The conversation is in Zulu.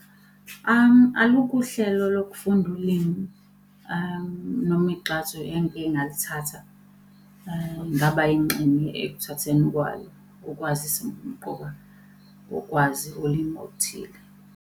Alukho uhlelo lokufunda ulimi, noma igxathu engike ngalithatha ngaba yingxenye ekuthatheni kwalo ukwazisa ubumqoka bokwazi ulimu oluthile.